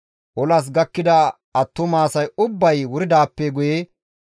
Olas gakkida attuma asay ubbay wuridaappe guye,